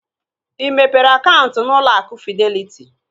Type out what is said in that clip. Ị mepere ụlọ akụ fideliti?